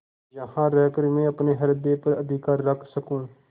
यहाँ रहकर मैं अपने हृदय पर अधिकार रख सकँू